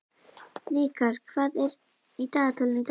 Hnikar, hvað er í dagatalinu í dag?